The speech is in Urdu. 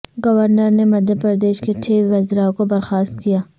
گورنر نے مدھیہ پردیش کے چھ وزرا کو برخاست کیا